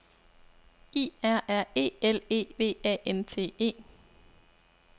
I R R E L E V A N T E